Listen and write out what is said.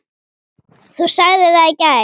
Þú sagðir það í gær.